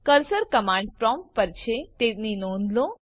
cursor command prompt પર છે તેની નોંધ લો